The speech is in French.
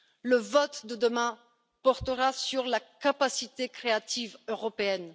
Le vote de demain portera sur la capacité créative européenne.